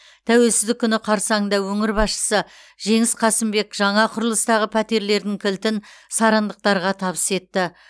тәуелсіздік күні қарсаңында өңір басшысы жеңіс қасымбек жаңа құрылыстағы пәтерлердің кілтін сарандықтарға табыс етті